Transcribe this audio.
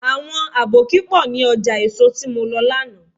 Àwọn àbókí pọ̀ ní ọjà èso tí mo lọ lánàá.